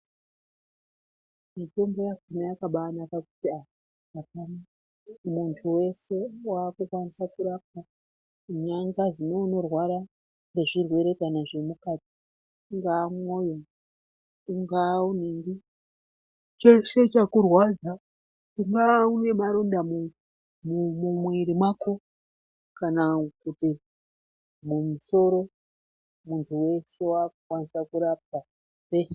Mitombo yakhona yakabanaka kuti muntu weshe wakukwanisa anangazi unorwara nezvirwere kana zvemukati ungaa mwoyo ungaa uningi cheshe chakurwadza ungaa unemaronda mumuiri mwako kana kuti mumusoro muntu weshe wakukwanisa kurapwa peshe.